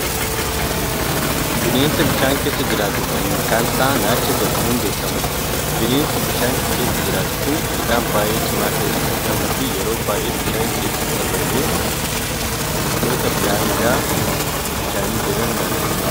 Bineensa bishaan keessa jiraatu kan maqaan Isaa Naacha jedhamuun beekamuudha. bineensi bishaan keessa jiraatu Kuni ilkaan baay'ee cimaa ta'e Kan qabuufi yeroo baay'ee bishaan keessaa balee wantoota daangaa bishaanii Jiran adamsee nyaata.